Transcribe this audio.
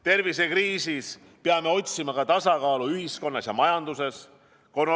Tervisekriisis peame otsima tasakaalu ühiskonnas ja majanduses.